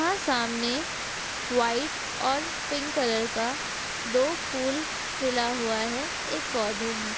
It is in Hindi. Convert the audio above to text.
हाँ सामने वाइट और पिंक कलर का दो फूल खिला हुआ है एक पौधे में।